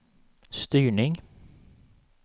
styrning